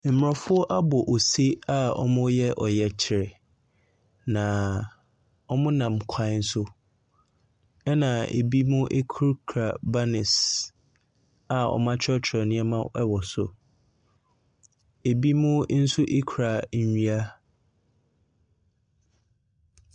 Mmorɔfɔ abɔ ose a wɔreyɛ ɔyɛkyerɛ. Na wɔnam kwan so. Na ebinim kurakura banners a wɔatwerɛtwerɛ nneɛma wɔ so. Ebinom nso kura nnua.